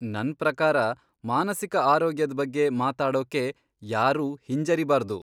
ನನ್ ಪ್ರಕಾರ ಮಾನಸಿಕ ಆರೋಗ್ಯದ್ ಬಗ್ಗೆ ಮಾತಾಡೋಕೆ ಯಾರೂ ಹಿಂಜರಿಬಾರ್ದು.